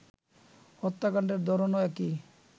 হত্যাকাণ্ডের ধরনও একই